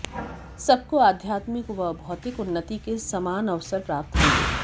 सबको आध्यात्मिक व भौतिक उन्नति के समान अवसर प्राप्त होंगे